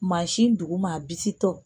Mansin duguma a bisitɔ.